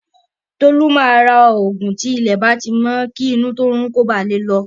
Tolu máa ra ògùn tí ilẹ̀ bá ti mọ́ kí inú tó n rún ó ba lè lọ